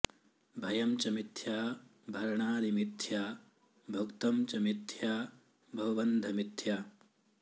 भयं च मिथ्या भरणादि मिथ्या भुक्तं च मिथ्या बहुबन्धमिथ्या